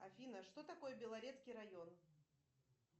афина что такое белорецкий район